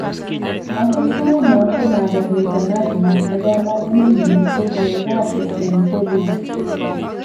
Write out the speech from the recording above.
Angot kouno ko mager nito Najma ne kamang'unenyi ko kiyai kasi eng Holiwood